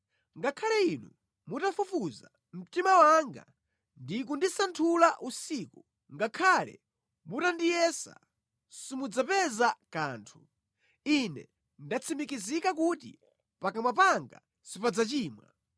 Ngakhale Inu mutafufuza mtima wanga ndi kundisanthula usiku, ngakhale mutandiyesa, simudzapeza kanthu; Ine ndatsimikiza kuti pakamwa panga sipadzachimwa.